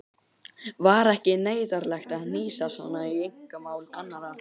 Var ekki neyðarlegt að hnýsast svona í einkamál annarra?